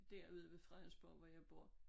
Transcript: Derude ved Fredensborg hvor jeg bor